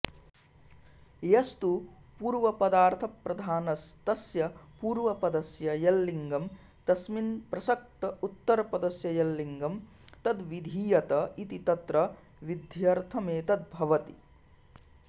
यस्तु पूर्वपदार्थप्रधानस्तस्य पूर्वपदस्य यल्लिङ्गं तस्मिन् प्रसक्त उत्तरपदस्य यल्लिङ्गं तद्विधीयत इति तत्र विध्यर्थमेतद्भवति